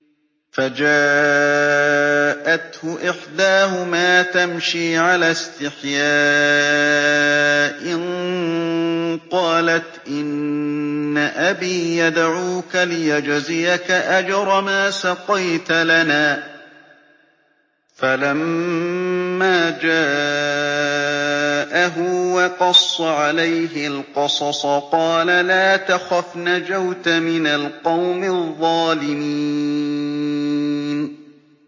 فَجَاءَتْهُ إِحْدَاهُمَا تَمْشِي عَلَى اسْتِحْيَاءٍ قَالَتْ إِنَّ أَبِي يَدْعُوكَ لِيَجْزِيَكَ أَجْرَ مَا سَقَيْتَ لَنَا ۚ فَلَمَّا جَاءَهُ وَقَصَّ عَلَيْهِ الْقَصَصَ قَالَ لَا تَخَفْ ۖ نَجَوْتَ مِنَ الْقَوْمِ الظَّالِمِينَ